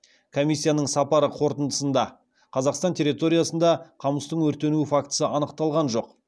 комиссияның сапары қорытындысында қазақстан территориясында қамыстың өртенуі фактісі анықталған жоқ